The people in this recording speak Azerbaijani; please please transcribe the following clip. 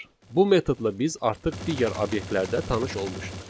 Bu metodla biz artıq digər obyektlərdə tanış olmuşuq.